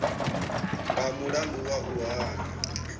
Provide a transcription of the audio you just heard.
nga mulandu wa u hana